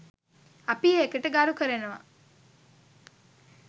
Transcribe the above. අපි ඒකට ගරු කරනව